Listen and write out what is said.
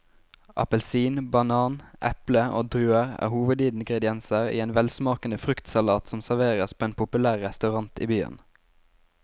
Appelsin, banan, eple og druer er hovedingredienser i en velsmakende fruktsalat som serveres på en populær restaurant i byen.